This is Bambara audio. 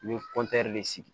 N bɛ de sigi